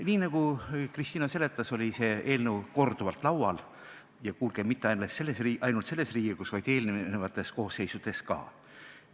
Nii nagu Kristina seletas, oli see eelnõu korduvalt laual ja, kuulge, mitte ainult selles Riigikogus, vaid eelnevates koosseisudes ka.